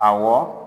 Awɔ